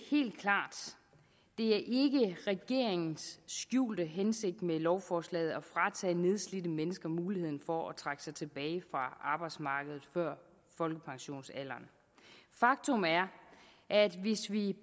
er ikke regeringens skjulte hensigt med lovforslaget at fratage nedslidte mennesker muligheden for at trække sig tilbage fra arbejdsmarkedet før folkepensionsalderen faktum er at hvis vi